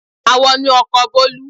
A wọ inú ọkọ̀ Bolu.